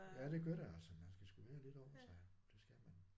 Ja det gør det altså man skal sgu være lidt om sig det skal man